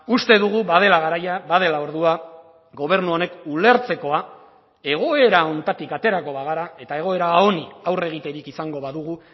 uste dugu badela garaia badela ordua gobernu honek ulertzekoa egoera honetatik aterako bagara eta egoera honi aurre egiterik izango badugu